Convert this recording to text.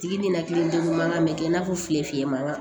Tigi ninakilidegun mankan bɛ kɛ i n'a fɔ fili fiyɛn man kan